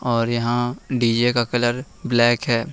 और यहां डी_जे का कलर ब्लैक है।